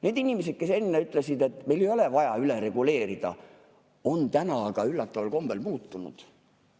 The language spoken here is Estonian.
Need inimesed, kes enne ütlesid, et meil ei ole vaja üle reguleerida, on täna aga üllataval kombel muutunud.